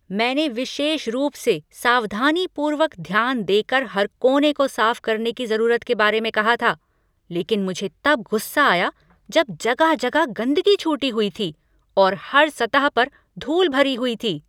मैंने विशेष रूप से सावधानीपूर्वक ध्यान देकर हर कोने को साफ करने की जरूरत के बारे में कहा था लेकिन मुझे तब गुस्सा आया जब जगह जगह गंदगी छूटी हुई थी और हर सतह पर धूल भरी हुई थी।